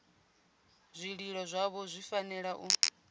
zwililo zwavho zwi fanela u